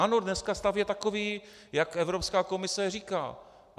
Ano, dneska stav je takový, jak Evropská komise říká.